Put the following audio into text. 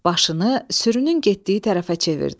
Başını sürünün getdiyi tərəfə çevirdi.